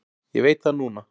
Ég veit það núna.